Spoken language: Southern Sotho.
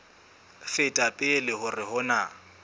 feta pele hore ho na